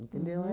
Entendeu?